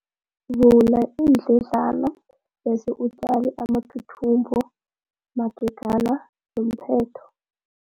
Vula iindledlana bese utjale amathuthumbo magega nomphetho.